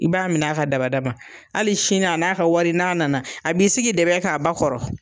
I b'a minɛ a ka dabada ma hali sini a n'a ka wari n'a nana a b'i sigi dɛbɛ kan a ba kɔrɔ